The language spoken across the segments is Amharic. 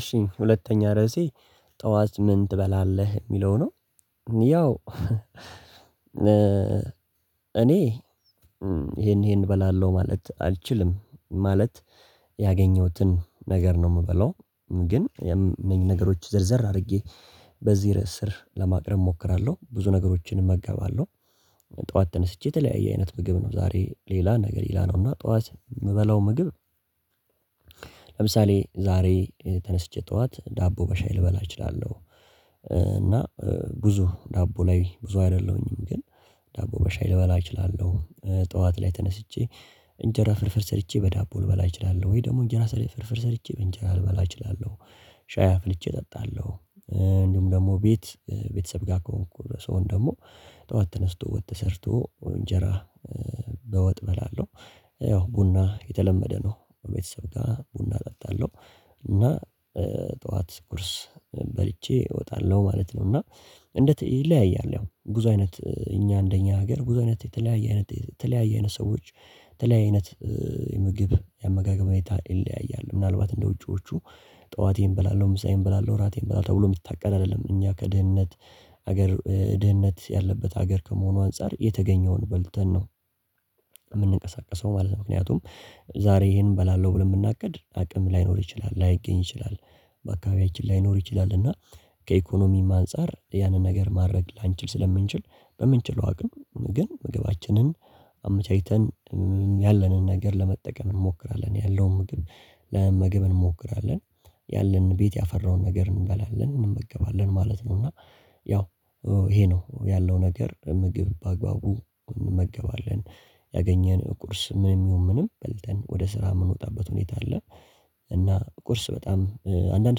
እሺ ሁለተኛ ርዕሴ ጠዋት ምን ትበላለህ ሚለው ነው? ያው እኔ ይሄን ይሄን እበላለሁ ማለት አልችልም ማለት ያገኘሁትን ነገር ነው ምበለው። ግን እኔም ነገሮች ዝርዝር አድርጌ በዚህ ርዕስ ስር ለማቅረብ እሞክራለሁ ብዙ ነገሮችን እመጋባለሁ። ጠዋት ተነስቼ የተለያየ አይነት ምግብ ነው ዛሬ ሌላ ነገር ሌላ ነው እና ጠዋት ምበላው ምግብ። ለምሳሌ ዛሬ ተነስቼ ጠዋት ዳቦ በሻይ ልበላ እችላለሁ። እና ብዙ ዳቦ ላይ ብዙ አይደለሁኝም ግን ዳቦ በሻይ ልበላ እችላለሁ። ጠዋት ላይ ተነስቼ እንጀራ ፍርፍር ሰርቼ በዳቦ ልበላ እችላለሁ ወይ ደግሞ እንጀራ ስር ፍርፍር ሰርቼ በእንጀራ ልበላ እችላለሁ። ሻይ አፍልቼ እጠጣለሁ። እንዲሁም ደግሞ ቤት ቤተሰብ ጋር ከሆንኩ ስሆን ደግሞ ጠዋት ተነስቶ ወጥ ተሰርቶ እንጀራ በወጥ እበላለሁ። ያው ቡና የተለመደ ነው ቤተሰብ ጋር ቡና እጠጣለሁ። እና ጠዋት ቁርስ በልቼ እወጣለሁ ማለት ነው። እና እንደ ትዕይ ይለያያል ያው ብዙ አይነት እኛ እንደኛ ሀገር ብዙ አይነት የተለያየ አይነት የተለያየ አይነት ሰዎች ተለያየ አይነት ምግብ የአመጋገብ ሁኔታ ይለያያል። ምናልባት እንደ ውጪዎቹ ጠዋቴን በላለሁ ምሳዬን በላለሁ እራቴን በላለሁ ተብሎ የሚታቀድ አይደለም እኛ ከድህነት ሀገር ድህነት ያለበት ሀገር ከመሆኑ አንፃር የተገኘውን በልተን ነው። ማለት ነው። ምክንያቱም ዛሬ ይሄን እበላለሁ ብለን ብናቅድ አቅም ላይኖር ይችላል ላይገኝ ይችላል። በአካባቢያችን ላይኖር ይችላል። እና ከኢኮኖሚም አንፃር ያንን ነገር ማድረግ ላንችል ስለምንችል በምንችለው አቅም ግን ምግባችንን አመቻችተን ያለንን ነገር ለመጠቀም እንሞክራለን። ያለውም ምግብ ለመመገብ እንሞክራለን። ያለንን ቤት ያፈራውን ነገር እንበላለን እንመገባለን ማለት ነው። እና ያው ይሄ ነው ያለው ነገር ምግብ በአግባቡ እንመገባለን። ያገኘን ቁርስ ምንም ይሁን ምንም በልተን ወደ ስራ የምንወጣበት ሁኔታ አለ። እና ቁርስ በጣም አንዳንድ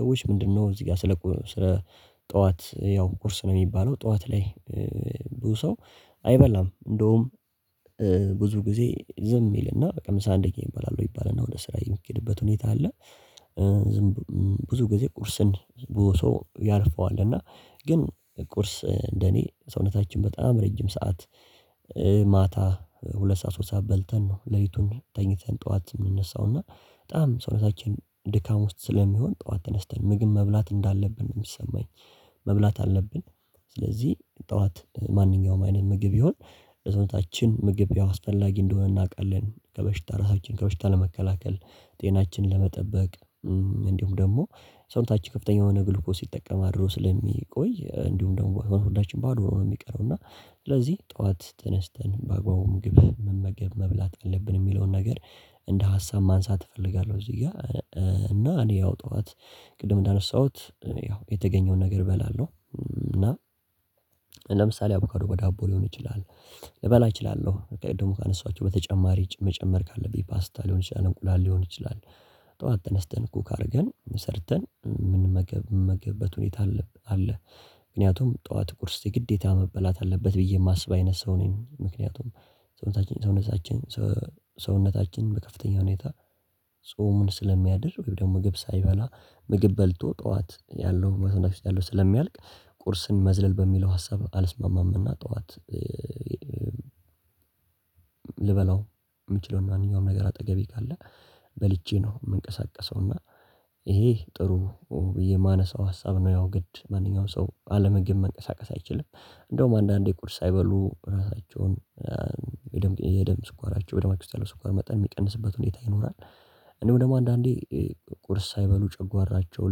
ሰዎች ምንድነው? እዚህ ጋር ስለ ጠዋት ያው ቁርስ ነው ሚባለው ጠዋት ላይ ብዙ ሰው አይበላም። እንደውም ብዙ ጊዜ ዝም ይልና በቃ ምሳ አንደኛ ይባላል ወይ ይባልና ወደ ስራ የሚኬድበት ሁኔታ አለ። ዝም ብዙ ጊዜ ቁርስን ብዙ ሰው ያልፈዋልና። ቁርስ እንደኔ ሰውነታችን በጣም ረጅም ሰዓት ማታ ሁለት ሰዓት ሶስት ሰዓት በልተን ነው ሌሊቱን ተኝተን ጠዋት የምንነሳው እና በጣም ሰውነታችን ድካም ውስጥ ስለሚሆን ጠዋት ተነስተን ምግብ መብላት እንዳለብን ነው የሚሰማኝ። መብላት አለብን። ስለዚህ ጠዋት ማንኛውም አይነት ምግብ ይሁን ለሰውነታችን ምግብ ያው አስፈላጊ እንደሆነ እናቃለን ከበሽታ ራሳችን ከበሽታ ለመከላከል ጤናችን ለመጠበቅ። እንዲሁም ደግሞ ሰውነታች ከፍተኛ የሆነ ግሉኮስ ሲጠቀም አድሮ ስለሚቆይ እንዲሁም ደግሞ ሆዳችን ባዶ ነው ሚቀር እና ስለዚህ ጠዋት ተነስተን በአግባቡ ምግብ መመገብ መብላት አለብን ሚለውን ነገር እንደ ሀሳብ ማንሳት እፈልጋለሁ። እዚህ ጋር እና እኔ ያው ጠዋት ቅድም እንዳነሳሁት ያው የተገኘውን ነገር እበላለሁ። ለምሳሌ አቮካዶ በዳቦ ሊሆን ይችላል። ልበላ እችላለሁ ደግሞ ካነሷቸው በተጨማሪ መጨመር ካለብኝ ፓስታ ሊሆን ይችላል እንቁላል ሊሆን ይችላል። ጠዋት ተነስተን ኩክ አርገን ሰርተን ምን መገብ ምንመገበት ሁኔታ አለ። ምክንያቱም ጠዋት ቁርስ የግዴታ መበላት አለበት ብዬ ማስብ አይነት ሰው ነኝ። ምክንያቱም ሰውነታችን ሰውነታችን ሰውነታችን በከፍተኛ ሁኔታ ጾሙን ስለሚያድር ወይም ደግሞ ምግብ ሳይበላ ምግብ በልቶ ጠዋት ያለው መቶ ነፍስ ያለው ስለሚያልቅ ቁርስን መዝለል በሚለው ሀሳብ አልስማማምና። ጠዋት ልበላው የምችለው ማንኛውም ነገር አጠገቤ ካለ በልቼ ነው ምንቀሳቀሰው እና ይሄ ጥሩ ብዬ ማነሳው ሀሳብ ነው ያው ግድ ማንኛውም ሰው አለምግብ መንቀሳቀስ አይችልም። እንደውም አንዳንዴ ቁርስ ሳይበሉ የደም ስኳራቸው በደማችሁ ስኳር መጠን የሚቀንስበት ሁኔታ ይኖራል። እንደሁም ደግሞ አንዳንዴ ቁርስ ሳይበሉ ጨጓራቸው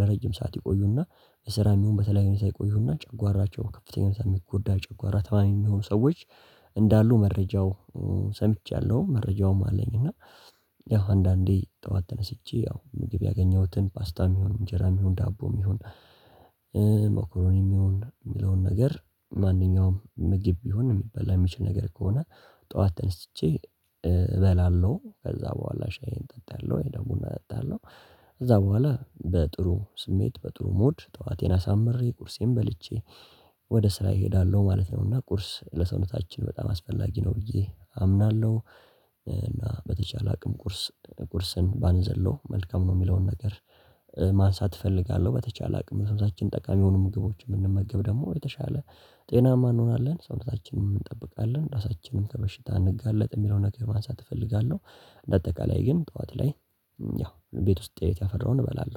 ለረጅም ሰዓት ይቆዩና በስራ ይሁን በተለያየ ሁኔታ ይቆዩና ጨጓራቸው ከፍተኛ ሰዓት የሚጎዳ ጨጓራ ተማሚ የሚሆን ሰዎች እንዳሉ መረጃው ሰምቻለሁ። መረጃውም አለኝ። እና ያው አንዳንዴ ጠዋት ተነስቼ ያው ምግብ ያገኘሁትን ፓስታም ይሁን እንጀራም ይሁን ዳቦም ይሁን። መኮሮኒም ይሁን የሚለውን ነገር ማንኛውም ምግብ ቢሆን የሚበላ የሚችል ነገር ከሆነ። ጠዋት ተነስቼ እበላለሁ ከዛ በኋላ ሻይ ጠጣለሁ ደሞቡና ጠጣለሁ። ከዛ በኋላ በጥሩ ስሜት በጥሩ ሞድ ጠዋቴን አሳምሬ ቁርሴም በልቼ ወደ ስራ እሄዳለሁ ማለት ነው። እና ቁርስ ለሰውነታችን በጣም አስፈላጊ ነው ብዬ አምናለሁ። እና በተቻለ አቅም ቁርስ ቁርስን ባንዘለው መልካም ነው ሚለውን ነገር ማንሳት እፈልጋለሁ። በተቻለ አቅም ሰውነታችን ጠቃሚ የሆኑ ምግቦችን ምንመገብ ደግሞ የተሻለ ጤናማ እንሆናለን ሰውነታችንም እንጠብቃለን ራሳችንን ከበሽታ አንጋለጥ የሚለውን ነገር ማንሳት እፈልጋለሁ። በአጠቃላይ ግን ጠዋት ላይ ያው ቤት ውስጥ ቤት ያፈራውን እበላለሁ